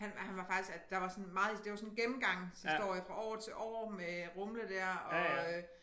Han han var faktisk at der var sådan meget at det var sådan en gennemgangshistorie fra år til år med Rumle dér og øh